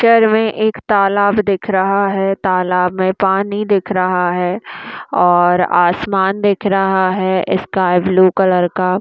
Picture मे एक तालाब दिख रहा है तालाब मे पानी दिख रहा है और आसमान दिख रहा है स्काई ब्लू कलर का।